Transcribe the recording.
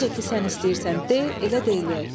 Necə ki sən istəyirsən de, elə də eləyək.